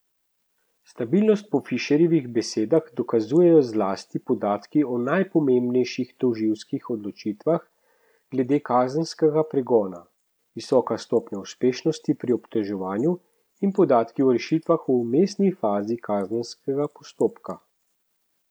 Stabilnost po Fišerjevih besedah dokazujejo zlasti podatki o najpomembnejših tožilskih odločitvah glede kazenskega pregona, visoka stopnja uspešnosti pri obtoževanju in podatki o rešitvah v vmesni fazi kazenskega postopka.